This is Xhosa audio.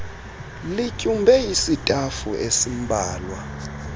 lityumbe isitafu esimbalwa